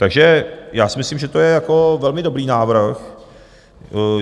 Takže já si myslím, že to je velmi dobrý návrh.